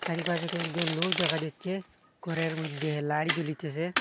চারিপাশে কয়েকজন লোক দেখা যাচ্ছে ঘরের মইদ্যে লাইট জ্বলিতেসে।